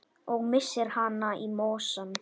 Og missir hana í mosann.